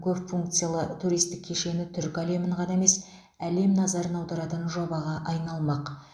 көпфункциялы туристік кешені түркі әлемін ғана емес әлем назарын аударатын жобаға айналмақ